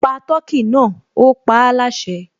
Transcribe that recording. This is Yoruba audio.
Pa tọkí náà, ó paáláṣẹ